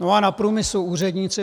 No a na průmyslu úředníci.